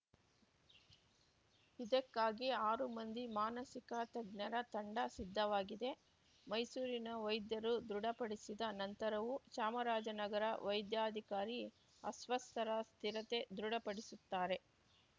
ಇದಕ್ಕಾಗಿ ಆರು ಮಂದಿ ಮಾನಸಿಕ ತಜ್ಞರ ತಂಡ ಸಿದ್ಧವಾಗಿದೆ ಮೈಸೂರಿನ ವೈದ್ಯರು ದೃಢಪಡಿಸಿದ ನಂತರವೂ ಚಾಮರಾಜನಗರ ವೈದ್ಯಾಧಿಕಾರಿ ಅಸ್ವಸ್ಥರ ಸ್ಥಿರತೆ ದೃಢಪಡಿಸುತ್ತಾರೆ